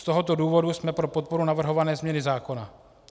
Z tohoto důvodu jsme pro podporu navrhované změny zákona.